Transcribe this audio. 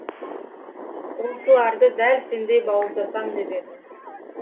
осыларды дәл сендей бауыздасам деп едім